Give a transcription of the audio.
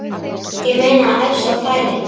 Ég meina ef svo færi.